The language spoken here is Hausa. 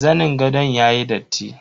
Zanin gadon yayi datti.